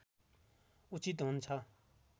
उचित हुन्छ